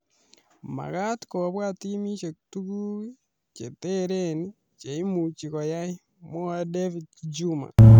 "Makaat kobwat timisiek tuguk che tereen che imuchi koyai ," mwaei David Juma .